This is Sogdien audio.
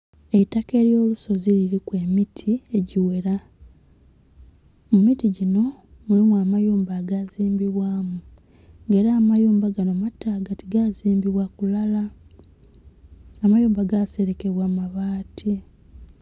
Eitaka elyo lusozi liliku emiti egighera mumiti ginho mulimu amayumba aga zimbibwamu nga era amayumba ganho mataaga ti gazimbibwa kulala, amayumba ga selekebwa mabati